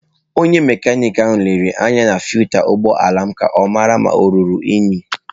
Onye mekaniki ahụ lere anya filta ụgbọ ala m ka ọ mara ma ọ ruru unyi.